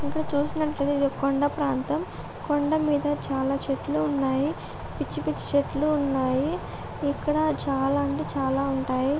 ఇక్కడ చూసినట్టైతే ఇదొక కొండా ప్రాంతం కొండా మీద చాలా చెట్లు ఉన్నాయి. పిచ్చి పిచ్చి చెట్లు ఉన్నాయి ఇక్కడ చాల అంటే చాలా ఉన్నాయి .